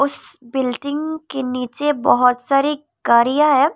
इस बिल्डिंग के नीचे बहोत सारी गाड़ियां हैं।